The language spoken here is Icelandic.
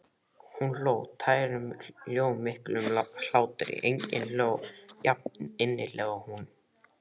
Hún hló, tærum, hljómmiklum hlátri, enginn hló jafninnilega og hún.